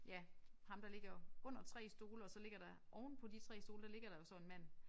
Ja ham der ligger under 3 stole og så ligger der ovenpå de 3 stole der ligger der jo så en mand